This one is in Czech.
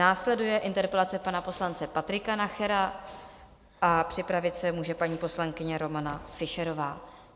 Následuje interpelace pana poslance Patrika Nachera a připravit se může paní poslankyně Romana Fischerová.